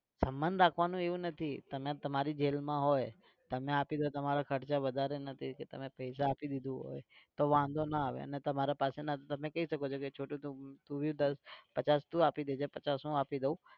સબંધ રાખવાનું એવું નથી તમે તમારી જેબમાં હોય. તમે આપી દો તમારા ખર્ચા વધાર નથી કે તમે પૈસા આપી દીધું હોય તો વાંધો ના આવે અને તમારે પાસે નથી તો તમે કહી શકો છો કે છોટુ તું भी દસ પચાસ તું આપી દેજે પચાસ હું આપી દઉ.